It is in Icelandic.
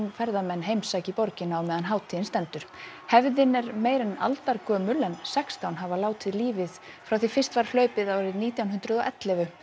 ferðamenn heimsæki borgina á meðan hátíðin stendur hefðin er meira en aldargömul en sextán hafa látið lífið frá því fyrst var hlaupið árið nítján hundruð og ellefu